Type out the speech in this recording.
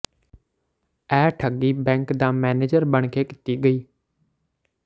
ਇਹ ਠੱਗੀ ਬੈਂਕ ਦਾ ਮੈਨੇਜਰ ਬਣ ਕੇ ਕੀਤੀ ਗਈ